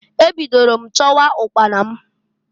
Ebidoro m chọwa ụkpana m.